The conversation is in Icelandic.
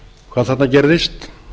hvað þarna gerðist